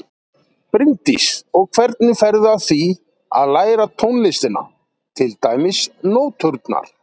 Bryndís: Og hvernig ferðu að því að læra tónlistina, til dæmis nóturnar?